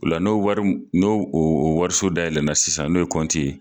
O la n'o wari , n'o o wariso dayɛlɛ la sisan n'o ye ye.